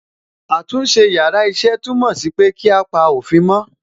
Àtúnṣe yàrá iṣẹ́ túmọ̀ sí pé kí á pa òfin mó.